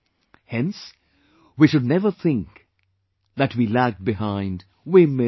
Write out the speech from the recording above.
Hence, we should never think that we lagged behind; we missed